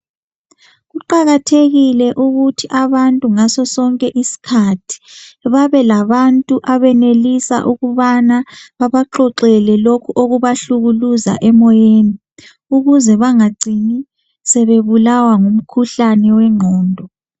Kuqakathekile ukuthi abantu ngasosonke isikhathi babe labantu abenelisa ukubana babaxoxele lokhu okubahlukuluza emoyeni ukuze banga gcini sebe bulawa ngumkhuhlane wengqondo.